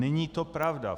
Není to pravda.